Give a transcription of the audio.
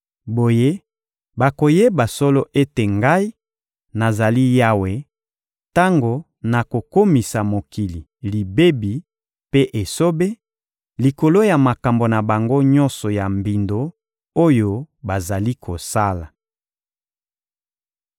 Boye, bakoyeba solo ete Ngai, nazali Yawe, tango nakokomisa mokili libebi mpe esobe, likolo ya makambo na bango nyonso ya mbindo oyo bazali kosala.›